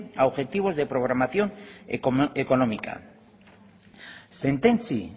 a objetivos de programación económica sententzi